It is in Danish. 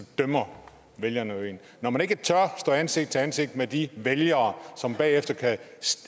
dømmer vælgerne jo en når man ikke tør stå ansigt til ansigt med de vælgere som bagefter kan